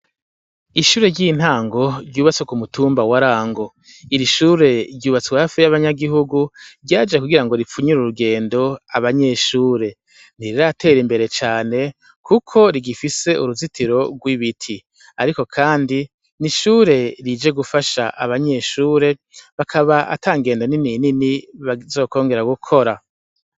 Ishure ryintango ryubatse kumutumba warango irishure ryubatswe hafi yabanyagihugu ryaje kugira ripfu urugendo abanyeshure ntiriratera imbere cane kuko rigifise uruzitiro rwibiti ariko kandi nishure rije gufasha abanyeshure bakaba atangendo nini nini bazokongera gukora